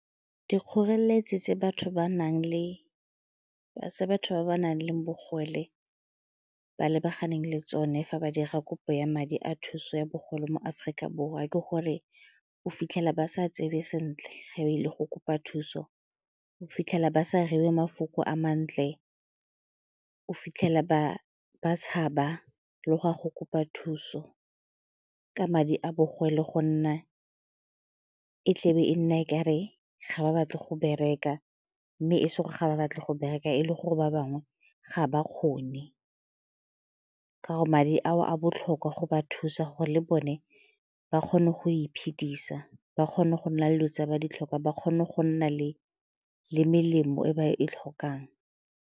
Dikgoreletsi tse batho ba nang le bogole ba lebaganeng le tsone fa ba dira kopo ya madi a thuso ya bogole mo Aforika Borwa ke gore o fitlhela ba sa tsebe sentle ga ba ile go kopa thuso, o fitlhela ba sa reiwe mafoko a mantle, o fitlhela ba tshaba le go a go kopa thuso ka madi a bogole go nna e tlebe e nna e ka re ga ba batle go bereka mme e se ga ba batle go bereka e le gore ba bangwe ga ba kgone, ka gore madi ao a botlhokwa go ba thusa gore le bone ba kgone go iphedisa ba kgone go nna le dilo tse ba di tlhokang, ba kgone go nna le melemo e ba e tlhokang.